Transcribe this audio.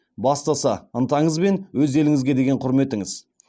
бастысы ынтаңыз бен өз еліңізге деген құрметіңіз